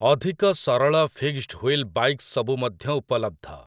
ଅଧିକ ସରଳ fixed wheel bike ସବୁ ମଧ୍ୟ ଉପଲବ୍ଧ ।